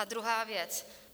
A druhá věc.